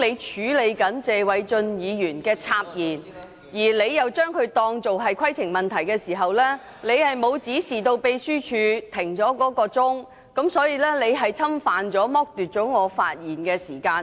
主席，當謝偉俊議員插言時，你裁定他是提出規程問題，但你卻沒有指示秘書處暫停計時器，這是侵犯及剝奪了我的發言時間。